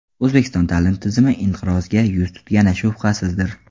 O‘zbekiston ta’lim tizimi inqirozga yuz tutgani shubhasizdir.